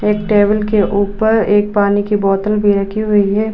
एक टेबल के ऊपर एक पानी की बोतल भी रखी हुई है।